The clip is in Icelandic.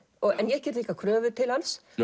en ég geri líka kröfur til hans